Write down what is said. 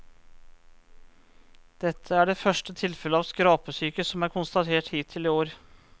Dette er det første tilfellet av skrapesyke som er konstatert hittil i år.